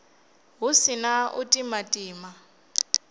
hu si na u timatima